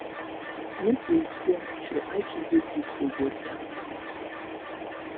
make we explore nature hiking dey good for body and mind